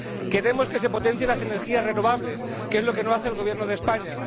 Queremos que se potencien las energías renovables —que es lo que no hace el Gobierno de España—.